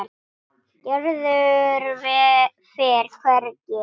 Gerður fer hvergi.